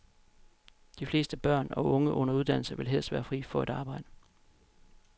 De fleste børn og unge under uddannelse vil helst være fri for et arbejde.